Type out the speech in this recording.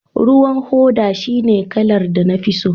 ruwan hoda shine kalar da na fi so